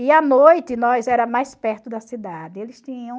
E à noite, nós era mais perto da cidade. Eles tinham